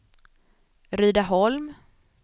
Rydaholm